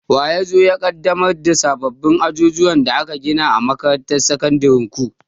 Wa ya zo ya ƙaddamar da sabbin ajujuwan da aka gina a makarantar sakandiren ku?